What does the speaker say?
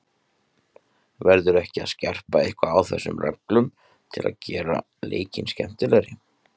Verður ekki að skerpa eitthvað á þessum reglum til að gera leikinn skemmtilegri?